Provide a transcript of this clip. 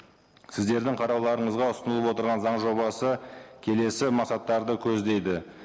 сіздердің қарауларыңызға ұсынылып отырған заң жобасы келесі мақсаттарды көздейді